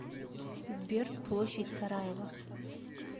сбер площадь сараево